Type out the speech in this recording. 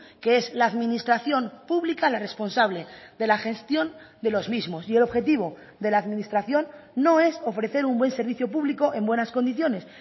que es la administración publica la responsable de la gestión de los mismos y el objetivo de la administración no es ofrecer un buen servicio público en buenas condiciones